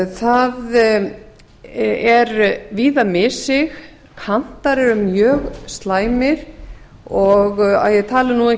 það er víða missig kantar eru mjög slæmir og ég tala nú